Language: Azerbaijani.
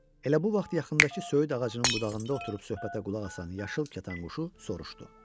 Elə bu vaxt yaxındakı söyüd ağacının budağında oturub söhbətə qulaq asan yaşıl kətan quşu soruşdu: